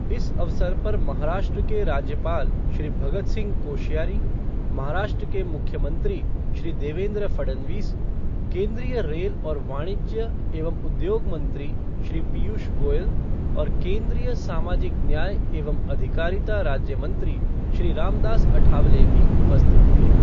इस अवसर पर महाराष्ट्र के राज्यपाल श्री भगत सिंह कोश्यारी, महाराष्ट्र के मुख्यमंत्री श्री देवेंद्र फडणवीस, केंद्रीय रेल और वाणिज्य एवं उद्योग मंत्री श्री पीयूष गोयल और केंद्रीय सामाजिक न्याय एवं अधिकारिता राज्यमंत्री श्री रामदास अठावलेभी उपस्थित थे।